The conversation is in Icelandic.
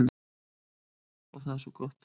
Og það er svo gott.